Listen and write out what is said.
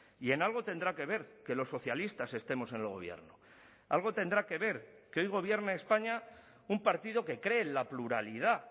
y en algo tendrá que ver que los socialistas estemos en el gobierno algo tendrá que ver que hoy gobierne españa un partido que cree en la pluralidad